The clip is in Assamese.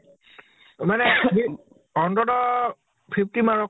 মানে সি অন্ততʼ fifty মাৰক